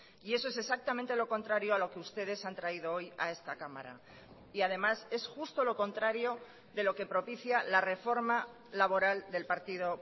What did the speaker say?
y eso es exactamente lo contrario a lo que ustedes han traído hoy a esta cámara y además es justo lo contrario de lo que propicia la reforma laboral del partido